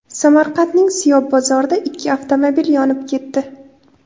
Samarqandning Siyob bozorida ikki avtomobil yonib ketdi.